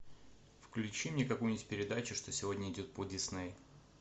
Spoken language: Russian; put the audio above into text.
включи мне какую нибудь передачу что сегодня идет по дисней